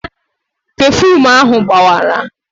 Pefuum ahụ gbawara